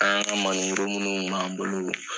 An ka Mali woro munnu kun b'an bolo